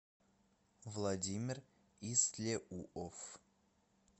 владимир истлеуов